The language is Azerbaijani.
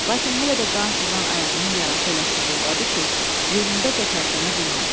Lakin hələ də qan sızan ayağının yarası elə sızıldadı ki, yerindəcə tərpənə bilmədi.